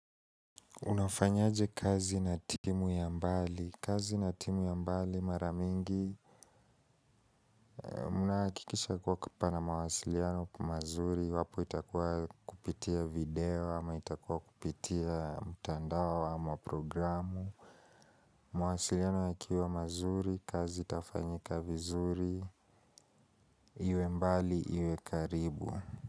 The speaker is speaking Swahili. Unafanyaje kazi na timu ya mbali? Kazi na timu ya mbali maramingi, munaakikisha kuwa kupana mawasiliano kumazuri, wapo itakuwa kupitia video, ama itakuwa kupitia mitandao, ama programu, mawasiliano yakiwa mazuri, kazi itafanyika vizuri, iwe mbali, iwe karibu.